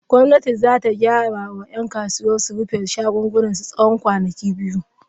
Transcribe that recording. Gwamnati za ta gaya wa ‘yan kasuwar su rufe shagunansu na tsawon kwanaki biyu.